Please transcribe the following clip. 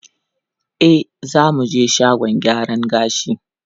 E, yanzu za mu je shagon gyaran gashi.